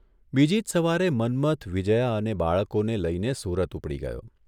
બીજી જ સવારે મન્મથ વિજ્યા અને બાળકોને લઇને સુરત ઉપડી ગયો.